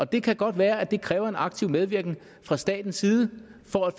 det kan godt være at det kræver en aktiv medvirken fra statens side for at